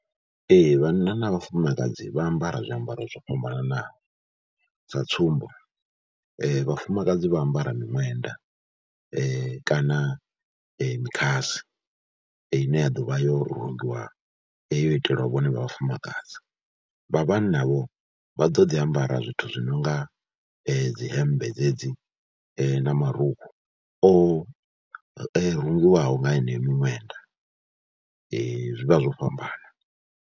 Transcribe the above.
Ee, vhanna na vhafumakadzi vha ambara zwiambaro zwo fhambananaho, sa tsumbo vhafumakadzi vha ambara miṅwenda kana mikhasi ine ya ḓo vha yo rungiwa yo itelwa vhone vha vhafumakadzi, vha vhanna vho vha ḓo ḓi ambara zwithu zwi no nga dzi hembe dzedzi na marukhu o rungiwaho nga heneyo miṅwenda, zwi vha zwo fhambana.